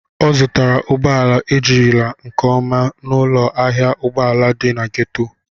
Ọ zụtara ụgbọ ala ejirila nke ọma n'ụlọ ahịa ụgbọ ala dị na gétò